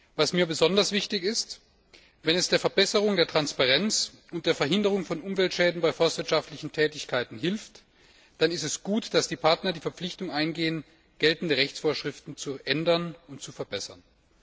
Was mir besonders wichtig ist Wenn es der Verbesserung der Transparenz und der Verhinderung von Umweltschäden bei forstwirtschaftlichen Tätigkeiten hilft, dann ist es gut, dass die Partner die Verpflichtung eingehen, geltende Rechtsvorschriften zu ändern und zu verbessern.